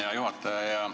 Hea juhataja!